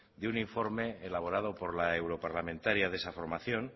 de un informe elaborado por la europarlamentaria de esa formación